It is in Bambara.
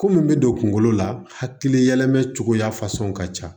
Ko min bɛ don kungolo la hakili yɛlɛma cogoya fasɛnw ka ca